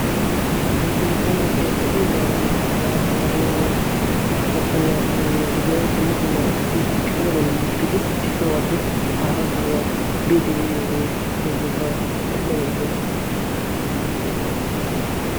ha nu sinttanee be'iyoogaadan kadaro maccanne attumenne gidiyaa dumma dumaa asati kaame ballan uttidi issi sohuwaappe haara sohuwaa biidi ye'iyoogee meyyooga sa bayyoggoii